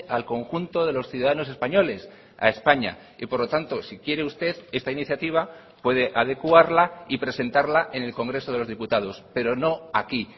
al conjunto de los ciudadanos españoles a españa y por lo tanto si quiere usted esta iniciativa puede adecuarla y presentarla en el congreso de los diputados pero no aquí